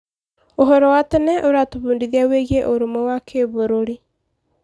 Ũhoro wa tene ũratũbundithia wĩgiĩ ũrũmwe wa kĩbũrũri.